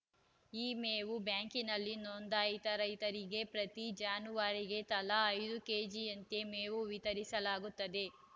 ಈ ಮೇವು ಬ್ಯಾಂಕಿನಲ್ಲಿ ನೊಂದಾಯಿತ ರೈತರಿಗೆ ಪ್ರತಿ ಜಾನುವಾರಿಗೆ ತಲಾ ಐದು ಕೆಜಿಯಂತೆ ಮೇವು ವಿತರಿಸಲಾಗುತ್ತದೆ